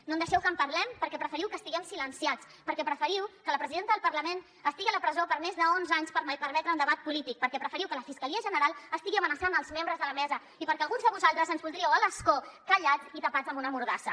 no deixeu que en parlem perquè preferiu que estiguem silenciats perquè preferiu que la presidenta del parlament estigui a la presó per més d’onze anys per permetre un debat polític perquè preferiu que la fiscalia general estigui amenaçant els membres de la mesa i perquè alguns de vosaltres ens voldríeu a l’escó callats i tapats amb una mordassa